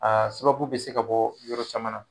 A sababu bɛ se ka bɔ yɔrɔ caman na.